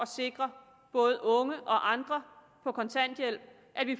sikre både unge og andre på kontanthjælp